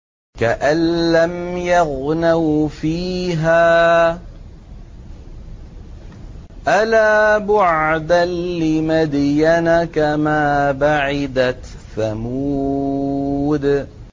كَأَن لَّمْ يَغْنَوْا فِيهَا ۗ أَلَا بُعْدًا لِّمَدْيَنَ كَمَا بَعِدَتْ ثَمُودُ